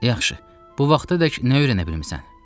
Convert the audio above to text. Yaxşı, bu vaxta dək nə öyrənə bilmisən?